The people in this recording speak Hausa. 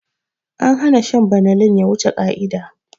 An hana shan banalin ya wuce ƙa'ida